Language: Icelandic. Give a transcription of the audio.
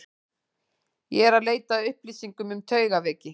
Ég er eð leita að upplýsingum um taugaveiki.